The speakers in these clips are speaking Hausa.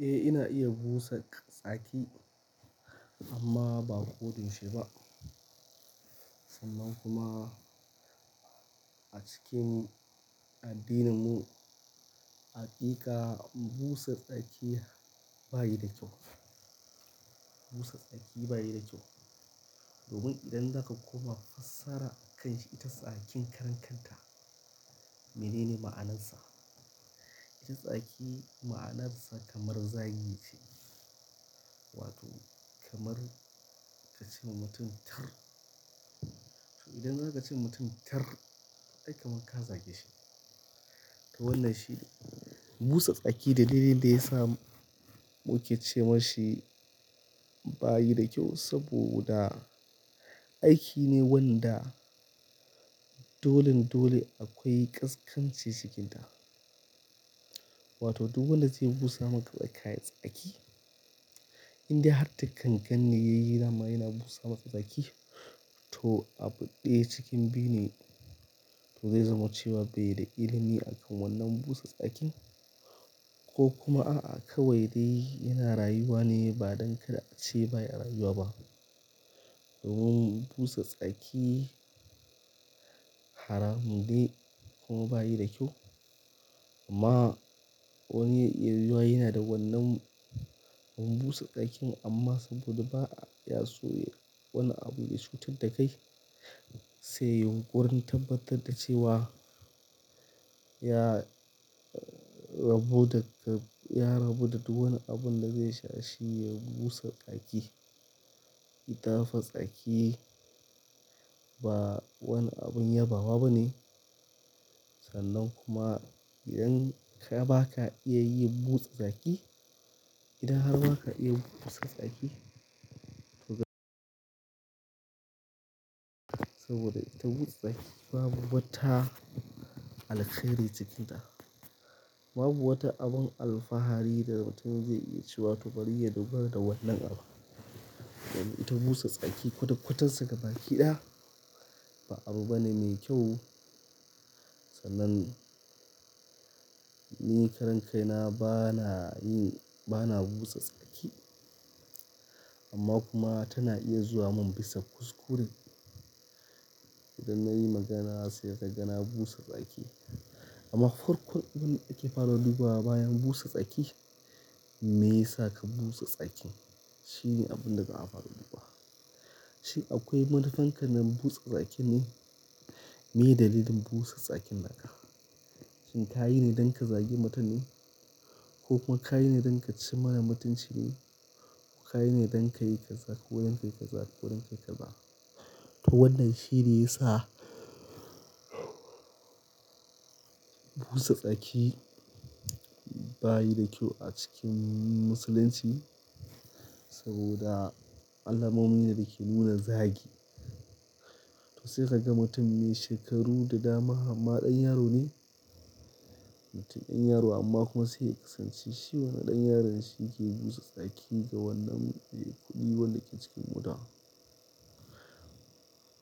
Eh, ina iya busa tsaki amma ba koda yaushe ba. Sannan kuma a cikin addininmu, haƙiƙa busa tsaki ba yi da kyau. Busa tsaki ba yi da kyau. Domin idan zaka koma fassara kanshi, ita tsakin karen kanta. Mene ne ma'anarsa? Tsaki ma'anarsa kamar zagi ce. Wato kamar kace ma mutun tir idan akace mutun tir, ai kamar ka zage shi wannan shi, busa tsaki da dai yadda ya samu yake ce mashi baya da kyau, saboda aiki ne wanda dolen dolen akwai ƙasƙanchi cikinsa wato duk wanda zaya busa maka tsaki, inde har da ganganne yayi daman yana busa maka tsaki, toh abu daya cikin biyune zai zama cewa bai da ilimi akan wannan busa tsakin, ko kuma aa kawai de yana rayuwane badan kar ace baya rayuwa ba domin busa tsaki haramun ne kuma ba yi da kyau. Ama wani yanzu yana da wannan sakacin ama sai ka gan ba ya so ya na abu ya chutar da kai sai ya warantard da kai da cewa. Ya rabo daga, ya rabo da duk wani abun da zai sha shi ya busa tsaki. Ita fa tsaki ba wani abun yabawa ba ne. Sannan kuma idan ka ba ka iya yi busa tsaki, idan har ba ka iya busa tsaki, to saboda ita busa tsaki babu wata alheri cikinta. Babu wata abin alfahari da mutum zai iya ci wato bari ya dogara da wannan abu. Domin ita busa tsaki kwata-kwatansa ga baki ɗaya ba abu bane me kyau. Sannan ni karen kaina bana yin, bana busa tsaki. Amma kuma tana iya zuwa mun bisa kuskure. Idan na yi magana sai ka gana busa tsaki. Amma kurkurin abin da ake fara dubuwa bayan busa tsaki, me yasa ka busa tsaki? Shi ne abin da aka fara dubuwa. Shin akwai matakan ka nan busa tsaki nan me dalilin busa tsakin naka? Shin ka yi ne don ka zagi mutum ne? Ko kuma ka yi ne don ka ci mana mutunci ne? Ko ka yi ne don ka yi kaza ko don ka yi kaza ko don ka yi kaza? To wannan shi ne ya sa busa tsaki ba yi da kyau a cikin Musulunci saboda alamomin da ke nuna zagi. To sai ka ga mutum mai shekaru da dama amma ɗan yaro ne. Mutum ɗan yaro amma kuma sai ka kasance shi wani ɗan yaron shi ke busa tsaki ga wannan e kuɗi wanda ke cikin mota.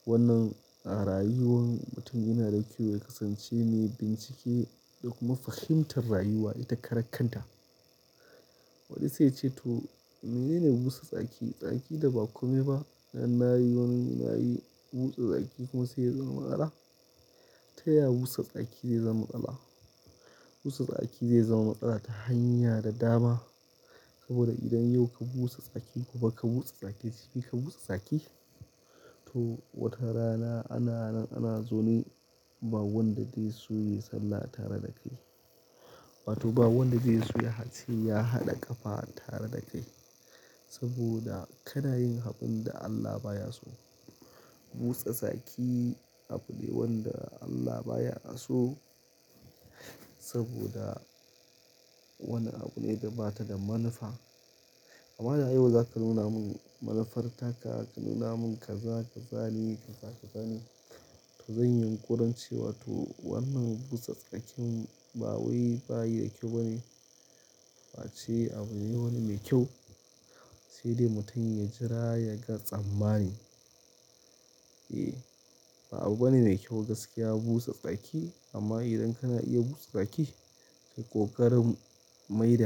Wannan a rayuwan mutum ya na da kyau ya kasance ne ya yi bincike, ya kuma fahintar rayuwa ita karan kan ta. Wani sai ya ce to mene ne busa tsaki? Tsaki da ba kome ba. Na yi wannan, na yi busa tsaki kuma sai ya zama matsala. Ta ya busa tsaki zai zama matsala? Busa tsaki zai zama matsala ta hanya da dama. Saboda idan yau ka busa tsaki kuma ka busa tsaki shi ka busa tsaki. To wata rana ana nan ana zaune ba wanda zai so ya sallah tare da kai. Wato ba wanda zai so har ya ce har ya hada kafar tare da kai. Sobada ka na yin abun da Allah ba ya so. Busa tsaki abu ne wanda Allah baya so saboda wani abu ne da ba ta da manufa. Amma da ayyuka za ka nuna mun manufartaka, ka nuna mun ka za ka zane, ka zane. To zan yi ƙuranci wato wannan busa tsakin ba wai ba yi da kyau ba ne. Ba ce abu ne wani mai kyau. To dai mutum ya jira ya gan tsammani. E, ba abu bane mai kyau gaskiya busa tsaki. Amma idan kana iya busa tsaki, sai ƙoƙarin maida.